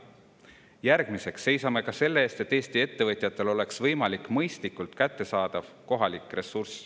Järgmiseks seisame selle eest, et Eesti ettevõtjatele oleks kohalik ressurss võimalikult mõistlikult kättesaadav.